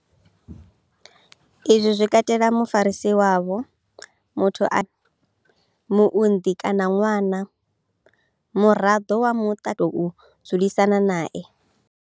Izwi zwi katela mufarisi wavho muthu ane vha tshila nae muunḓi kana ṅwana muraḓo wa muṱa kana muthu ane vha tou dzulisana nae.